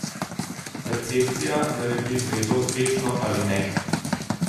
Percepcija naredi zvezo uspešno ali ne.